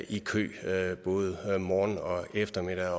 i kø både morgen og eftermiddag